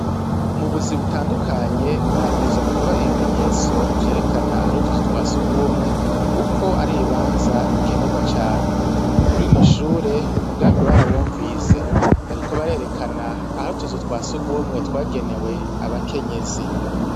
Mu buzi butandukanye habwirizwa kuba ibimenyetso vyerekana ah'utuzu twa sugumwe kuko ari ibibanza bikenerwa cane. Kur'ino Shure umugambi barawumvise bariko barerekana ah'utuzu twa sugumwe twagenewe abakenyezi.